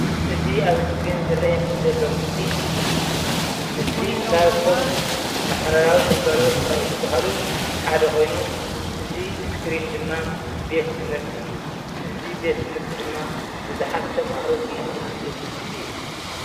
እዙይ ኣብ ስክሪን ዝርኣየኒ ዘሎ ምስሊ ምስሊ ካብቶም ማሕበራዊ ግልጋሎት ዝባህሉ ሓደ ካይኑ እዝይ እስክሪ ድማ ቤት ትምህርቲ እዩ። እዙይ ቤት ምህርቲ ድማ ብዙሓት ተማሃሮ ዝማህርሉ ቤት ትምህርቲ አዩ ።